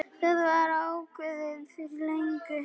Það var ákveðið fyrir löngu.